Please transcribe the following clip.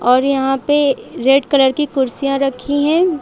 और यहाँ पे रेड कलर की कुर्सियां रखी हैं।